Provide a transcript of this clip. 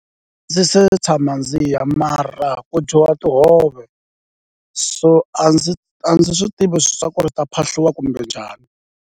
A ndzi se tshama ndzi ya mara ku dyiwa tihove, so a ndzi a ndzi swi tivi swa ku ri ta phahliwa kumbe njhani.